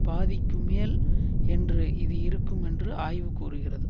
பாதிக்கும் மேல் என்று இது இருக்கும் என்று ஆய்வு கூறுகிறது